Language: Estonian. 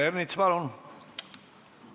Peeter Ernits, palun!